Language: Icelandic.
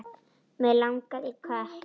Mig langaði í kött.